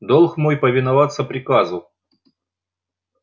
долг мой повиноваться приказу